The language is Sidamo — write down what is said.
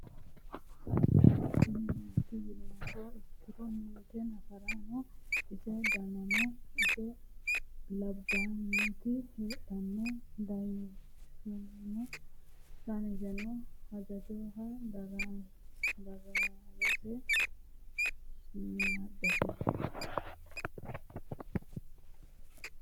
Kuni mati yinumoha ikiro xeenadamete yinaniha ikitana garaman coyi ninke nafarano ise danano ise labanoti heedhano daniseno haanjaho daroseno shimadte